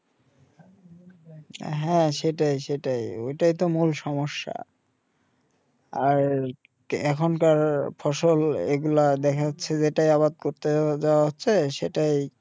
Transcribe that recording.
হাঁ সেটাই সেটাই ওইটাই তো মূল সম্মাসা আর এখন কার ফসল এই গুলা দেখা যাচ্ছে যে যেটাই আবাদ করতে যাও হচ্ছে সেটাই